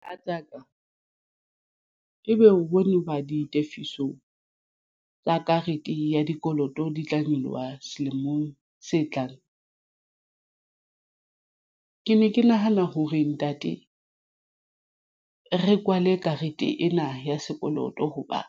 Mohatsaka ebe o bone hoba ditefiso tsa karete ya dikoloto di tla nyoloha selemong se tlang. Ke ne ke nahana ho re ntate re kwale karete ena ya sekoloto hoba